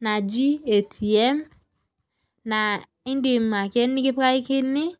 naji ATM naa idim ake nikipikakini iro.